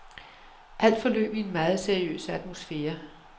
Alt forløb i en meget seriøs atmosfære.